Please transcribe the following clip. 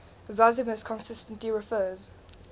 zosimus consistently refers